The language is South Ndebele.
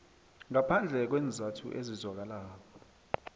ngaphandle kweenzathu ezizwakalako